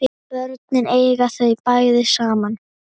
Börnin eiga þau bæði saman